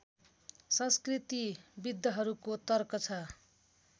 संस्कृतिविद्हरूको तर्क छ